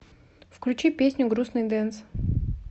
включи песню грустный дэнс